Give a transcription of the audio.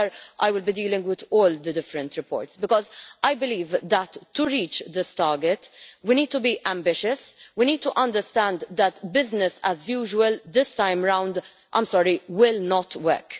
I will be dealing with all the different reports because I believe that to reach this target, we need to be ambitious and we need to understand that business as usual this time round will not work.